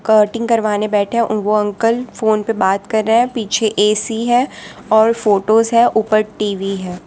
औटिंग करवाने बैठे है वो अंकल फोन पे बात कर रहा है पीछे ए_सी है और फोटोस है ऊपर टी_वी है।